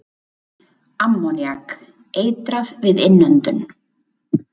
Ammoníak- Eitrað við innöndun.